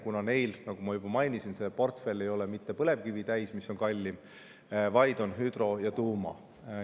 Neil, nagu ma juba mainisin, ei ole see portfell täis mitte põlevkivi, mis on kallim, vaid hüdro‑ ja tuuma.